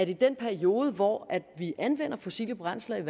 i den periode hvor vi anvender fossile brændsler